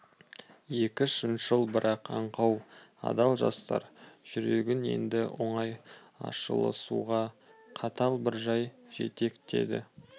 екі шыншыл бірақ аңқау адал жастар жүрегін енді оңай ашылысуға қатал бір жай жетектеді